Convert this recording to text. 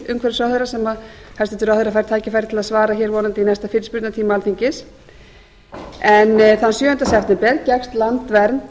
umhverfisráðherra sem hæstvirtur ráðherra fær tækifæri til að svara vonandi í næsta fyrirspurnatíma alþingis þann sjöunda september gekkst landvernd